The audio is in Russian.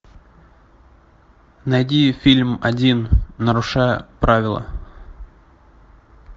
найди фильм один нарушая правила